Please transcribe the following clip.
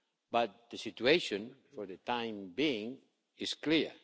But the situation, for the time being, is clear.